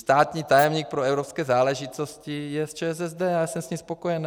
Státní tajemník pro evropské záležitosti je z ČSSD a já jsem s ním spokojený.